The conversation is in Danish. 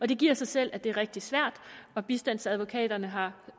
det giver sig selv at det er rigtig svært og bistandsadvokaterne har